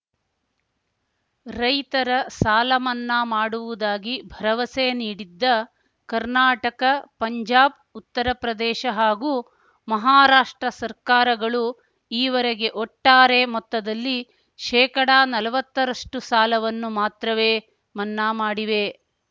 ರೈತರ ಸಾಲ ಮನ್ನಾ ಮಾಡುವುದಾಗಿ ಭರವಸೆ ನೀಡಿದ್ದ ಕರ್ನಾಟಕ ಪಂಜಾಬ್‌ ಉತ್ತರಪ್ರದೇಶ ಹಾಗೂ ಮಹಾರಾಷ್ಟ್ರ ಸರ್ಕಾರಗಳು ಈವರೆಗೆ ಒಟ್ಟಾರೆ ಮೊತ್ತದಲ್ಲಿ ಶೇಕಡಾನಲ್ವತ್ತರಷ್ಟುಸಾಲವನ್ನು ಮಾತ್ರವೇ ಮನ್ನಾ ಮಾಡಿವೆ